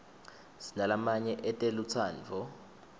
sinalamanye etelutsandvo